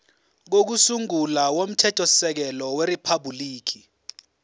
kokusungula komthethosisekelo weriphabhuliki